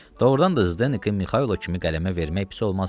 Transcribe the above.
Doğrudan da Zdekin Mixailo kimi qələmə vermək pis olmazdı.